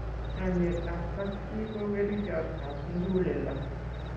chamiyet ab kap chi ko kerichot ab muguleldo